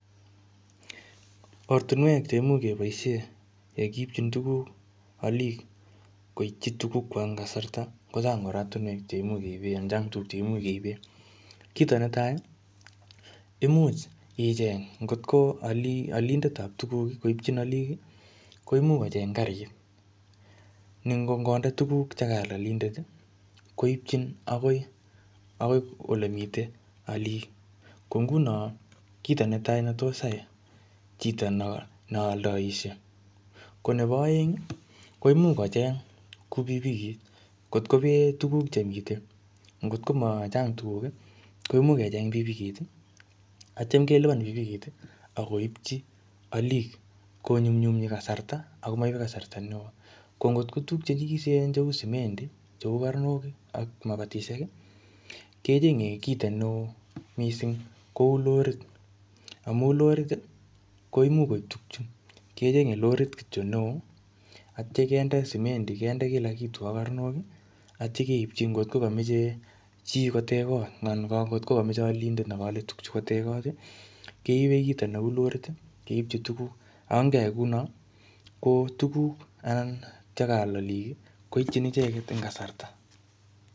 Ortinwek cheimuch keboishe yekiipchin tukuk olik koitchin eng kasarta kochang ortinwek che imuch keipe ak tukche imuch keibe. Kito netai imuch icheng otko alindetab tukuk, koitchi alik ko imuch kocheny karit biichu. Nen'goal tukuk koitchin akoi ole mitei alik. Kio netai ne tos koyai chito neoldoiushei. Ko nebo oeng, komuch kocheny kou pikipikit ngot ko machang tukuk chotok komuch kocheny pikipikit akoipchi. olik konyumnyumi kasarta ako maibei kasarta neo. Ko ngot ko tukuk chjenyikisen cheu semendi, cheu karnok, akmabatishek kechenyei kito neo mising kou lorit. Amu lorit, kinde simendi kinde kila kitu ak karnok atio keipchi ngotko kamachei chito kotech koot anan ko akot ko kamachei olindet ne kamachei koal tukchutok kotech koot keipe kito neu lorit ak keipchi ukuk ako ngeyai kou nook koitchin olik eng kasara.